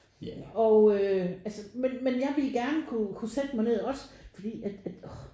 Og øh altså men men jeg ville gerne kunne kunne sætte mig ned også fordi at øh orh